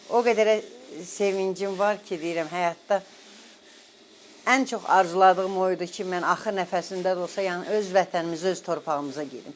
O qədər sevincim var ki, deyirəm həyatda ən çox arzuladığım o idi ki, mən axır nəfəsimdə də olsa, yəni öz vətənimizə, öz torpağımıza gedim.